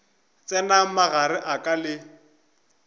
tsenago magareng a ka le